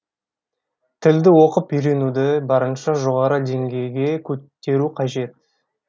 тілді оқып үйренуді барынша жоғары деңгейге көтеру қажет